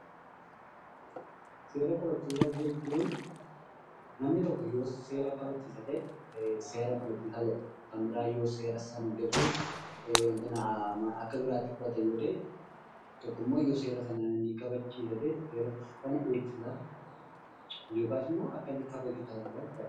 Seera kabachiisa jechuun namni tokko yoo seera kabachiisa ta'e , seera kabachiisaa jedhama. Kan biraa yoo seera san dabsuuf akka biraatti fudhata yoo ta'e tokkommoo seera sana ni kabachiisa ta'e seera sana eegsisa yookasimmoo seera sana kabachiisa jechaadha.